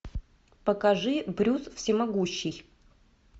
покажи брюс всемогущий